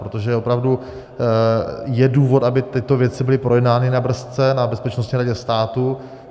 Protože opravdu je důvod, aby tyto věci byly projednány na BRS, na Bezpečnostní radě státu.